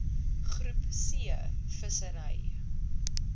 groep c vissery